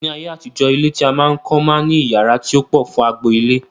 Ní ayé àtijọ́, ilé tí a máa ń kọ́ máa ń ní iyàrá tí ó pọ̀ fún agbo ilé